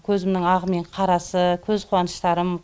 көзімнің ағы мен қарасы көз қуаныштарым